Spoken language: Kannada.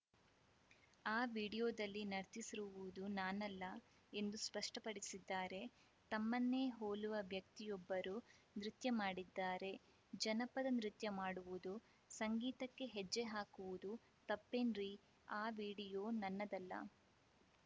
ಆ ವಿಡಿಯೋದಲ್ಲಿ ನರ್ತಿಸಿರುವುದು ನಾನಲ್ಲ ಎಂದು ಸ್ಪಷ್ಟಪಡಿಸಿದ್ದಾರೆ ತಮ್ಮನ್ನೇ ಹೋಲುವ ವ್ಯಕ್ತಿಯೊಬ್ಬರು ನೃತ್ಯ ಮಾಡಿದ್ದಾರೆ ಜನಪದ ನೃತ್ಯ ಮಾಡುವುದು ಸಂಗೀತಕ್ಕೆ ಹೆಜ್ಜೆ ಹಾಕುವುದು ತಪ್ಪೇನ್ರೀ ಆ ವಿಡಿಯೋ ನನ್ನದಲ್ಲ